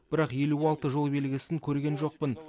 бірақ елу алты жол белгісін көрген жоқпын